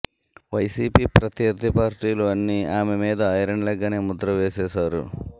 YCP ప్రత్యర్థి పార్టీలు అన్ని ఆమె మీద ఐరన్ లెగ్ అనే ముద్ర వేసేసారు